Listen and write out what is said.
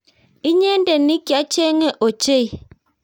inyendet nikyachengin ochei